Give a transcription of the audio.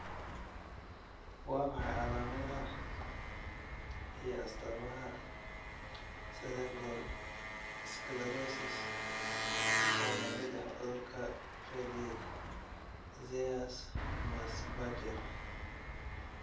Waa maxay calaamadaha iyo astamaha Cerebral sclerosis oo la mid ah cudurka Pelizaeus Merzbacher?